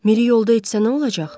Miri yolda etsə nə olacaq?